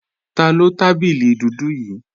Taló tábìlì dúdú yí